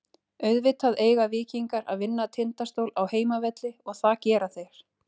Auðvitað eiga Víkingar að vinna Tindastól á heimavelli og það gera þeir.